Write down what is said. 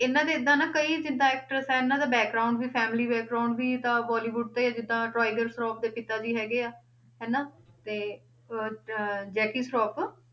ਇਹਨਾਂ ਦੇ ਏਦਾਂ ਨਾ ਕਈ ਜਿੱਦਾਂ actors ਹੈ ਇਹਨਾਂ ਦਾ ਵੀ family ਵੀ ਤਾਂ ਬੋਲੀਵੁਡ ਤੋਂ ਹੀ ਆ, ਜਿੱਦਾਂ ਟਾਈਗਰ ਸਰਾਫ਼ ਦੇ ਪਿਤਾ ਜੀ ਹੈਗੇ ਆ, ਹਨਾ ਤੇ ਅਹ ਅਹ ਜੈਕੀ ਸਰਾਫ਼